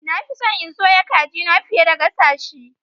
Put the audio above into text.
Na fi so in soya kajina fiye da gasa shi.